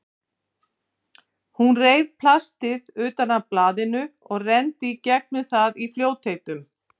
Hún reif plastið utan af blaðinu og renndi í gegnum það í fljótheitum.